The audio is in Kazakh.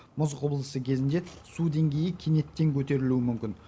мұз құбылысы кезінде су деңгейі кенеттен көтерілуі мүмкін